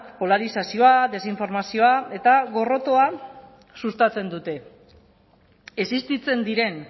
polarizazioa desinformazioa eta gorrotoa sustatzen dute existitzen diren